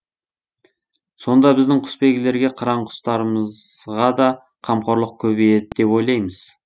сонда біздің құсбегілерге қыран құстарымызға да қамқорлық көбейеді деп ойлаймыз